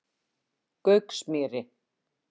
Gauksmýri